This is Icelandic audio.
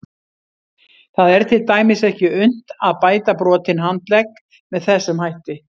Það er til dæmis ekki unnt að bæta brotinn handlegg með þessum hætti.